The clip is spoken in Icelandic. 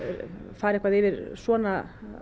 fara yfir svona